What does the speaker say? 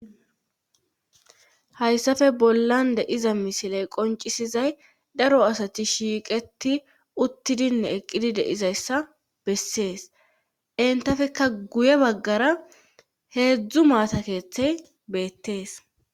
hayssafe bollan deiza misiley qoncisizay daro asati shiiqeti uttidinne eqqidi deizayssa bessees entafekka guye baggara heedzdzu maata keeththey beettees